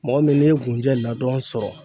Mɔgɔ min n'i ye kunjɛ ladɔn sɔrɔ.